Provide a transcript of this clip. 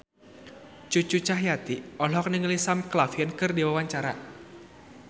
Cucu Cahyati olohok ningali Sam Claflin keur diwawancara